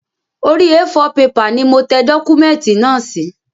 Orí A4 pepà ni mo tẹ dọ́kúmẹ̀tì náà sí